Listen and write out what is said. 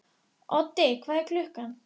Þau horfa á hana um stund.